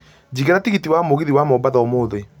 njigĩra tigiti wa mũgithi wa mombatha ũmũthĩ